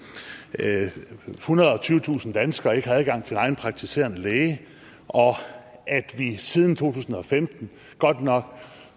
at ethundrede og tyvetusind danskere ikke har adgang til egen praktiserende læge og at vi siden to tusind og femten godt nok